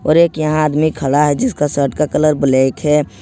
और एक यहां आदमी खड़ा है जिसका शर्ट का कलर ब्लैक है।